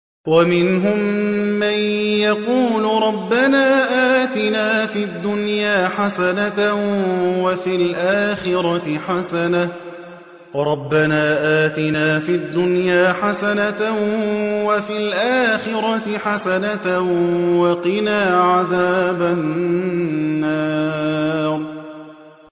وَمِنْهُم مَّن يَقُولُ رَبَّنَا آتِنَا فِي الدُّنْيَا حَسَنَةً وَفِي الْآخِرَةِ حَسَنَةً وَقِنَا عَذَابَ النَّارِ